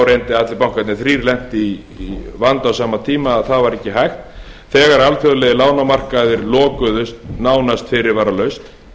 reyndi að allir bankarnir þrír lentu í vandasömum tíma að það var ekki hægt þegar að alþjóðlegir lánamarkaðir lokuðust nánast fyrirvaralaust